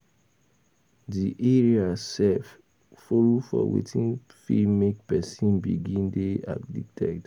Di area sef follow for wetin fit make person begin dey addicted